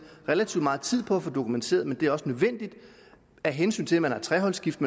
relativt meget tid på at dokumentere men det er også nødvendigt af hensyn til at man har treholdsskift